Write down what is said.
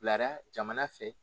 Bilara jamana fɛ